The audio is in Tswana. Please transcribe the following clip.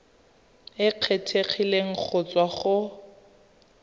e kgethegileng go tswa go